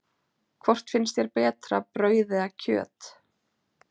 Hvort finnst þér betra, brauð eða kjöt?